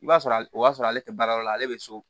I b'a sɔrɔ a b'a sɔrɔ ale tɛ baara yɔrɔ la ale bɛ so